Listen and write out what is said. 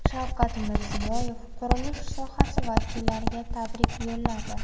Shavkat Mirziyoyev qurilish sohasi vakillariga tabrik yo‘lladi.